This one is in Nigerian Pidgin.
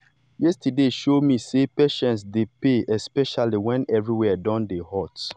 yesterday show me say patience dey pay especially when everywhere don dey hot.